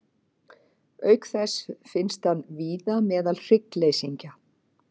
Auk þess finnst hann víða meðal hryggleysingja.